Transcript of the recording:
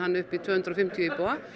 upp í tvö hundruð og fimmtíu íbúa